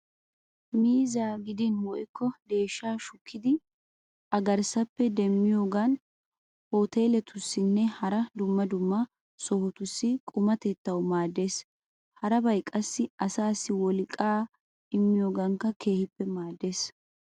Miizzaa gidin woykko deeshshaa shukkidi a garssappe demmiyogan hooteeletussinne hara dumma dumma sohotussi qumatettawu maaddeees. Harabay qassi asaassi wolqqaa immiyogaankka keehippe maaddeees.